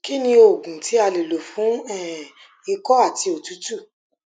kí ni oògùn tí a lè lò fún um iko àti òtútù